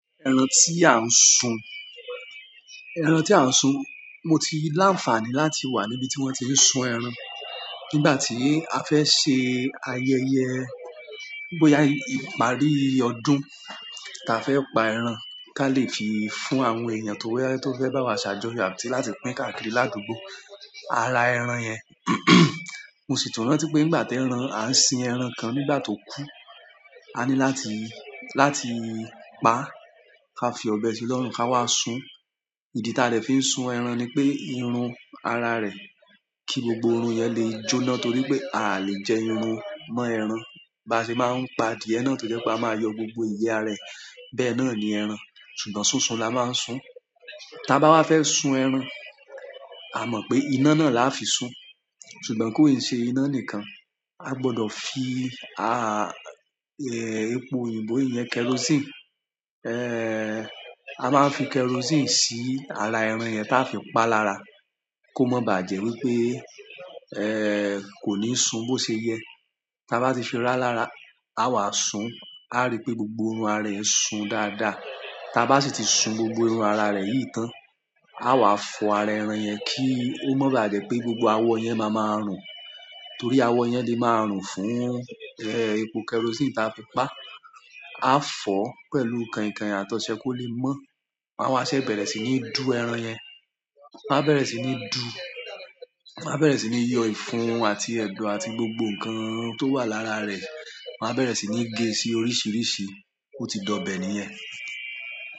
Ẹran tí à ń sun, ẹran tí à ń sun. Mo ti láǹfààní láti wà níbi tí wọ́n ti ń sun ẹran. Nígbà tí a fẹ́ ṣe ayẹyẹ, bóyá ìparí ọdún ta fẹ́ pa ẹran ká lè fi fún àwọn èèyàn tó fẹ́ bá wa ṣàjọyọ̀ àti láti pín káàkiri ládùúgbò, àra ẹran yẹn. Mo sì tún rántí pé à ń sin ẹran kan nígbà tó kú, a ní láti pa ká fi ọbẹ̀ sí lọ́rùn ká wá sún. Ìdí ta dè fi ń sun ẹran ni pé, irun ara rẹ̀ kí gbogbo irun yẹn lè jóná torí pé a lè jẹ irun mọ́ ẹran. Bá ṣe máa ń pa adìẹ náà tó jẹ́ pé a máa yọ gbogbo ìyẹ́ rẹ̀. Bẹ́ẹ̀ náà ni ẹran. Ṣùgbọ́n sún sun la máa ń sun. Tábá wa fẹ́ sun ẹran, a mọ̀ pé iná náà la a fi sún. Ṣùgbọ́n kó e ṣe iná nìkan, a gbọdọ̀ fi, epo òyìnbó iyẹn kerosene, a máa ń fi kerosene sí ara ẹran yẹn ta fi pa lára kó má bà jẹ́ wípé, kò ní sun bó ṣe yẹ. Ta ba ti fi ra lára a wa sún. A rí pé gbogbo irun ara rẹ̀ sun dáadáa. Tábá sì ti sun gbogbo irun ara rẹ̀ yìí tán, a wà fọ ara ẹran yẹn kí ó má bà jẹ́ pé gbogbo awọ yẹn máa máa rùn. Torí awọ yẹn le máa rùn fún epo kerosene ta fi pa. A fọ pẹ̀lú keinkein àtọ̀ṣẹ kó lè mọ́. A wá ṣè bẹ̀rẹ̀ sì ní dù ẹran yẹn. A bẹ̀rẹ̀ sì ní dù. A bẹ̀rẹ̀ sì ní yọ ìfun àti ẹ̀dọ̀ àti gbogbo ǹkan tó wà lára rẹ̀. A bẹ̀rẹ̀ sì ní gé e sí oríṣìíríṣìí ó ti dọbẹ níyẹn.